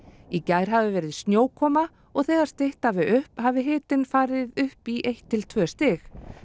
í gær hafi verið snjókoma og þegar stytt hafi upp hafi hitinn farið upp í eitt til tvö stig